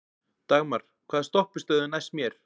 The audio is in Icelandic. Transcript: Dagmar, hvaða stoppistöð er næst mér?